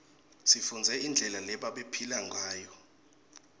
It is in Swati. sifundze indlela lebabephila nguyo